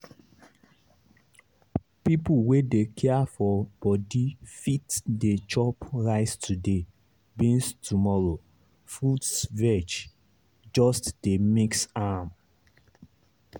people wey dey care for body fit dey chop rice today beans tomorrow fruits veg—just dey mix am.